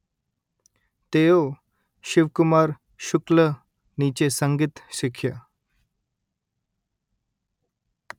તેઓ શિવકુમાર શુક્લ નીચે સંગીત શીખ્યા